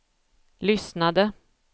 lyssnade